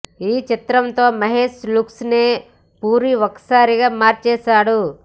ఈ చిత్రం తో మహేష్ లుక్స్ నే పూరి ఒక్కసారిగా మార్చేశాడు